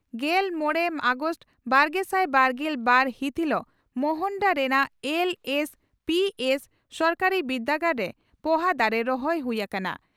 ᱜᱮᱞ ᱢᱚᱲᱮ ᱟᱜᱚᱥᱴ ᱵᱟᱨᱜᱮᱥᱟᱭ ᱵᱟᱨᱜᱮᱞ ᱵᱟᱨ ᱦᱤᱛ ᱦᱤᱞᱩᱜ ᱢᱚᱨᱚᱱᱰᱟ ᱨᱮᱱᱟᱜ ᱮᱞᱹᱮᱥᱹᱯᱤᱹᱮᱥᱹ ᱥᱚᱨᱠᱟᱨᱤ ᱵᱤᱨᱫᱟᱹᱜᱟᱲᱨᱮ ᱯᱚᱦᱟ ᱫᱟᱨᱮ ᱨᱚᱦᱚᱭ ᱦᱩᱭ ᱟᱠᱟᱱᱟ ᱾